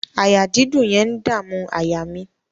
Àyà dídùn yẹn ń dàmú àyà mi.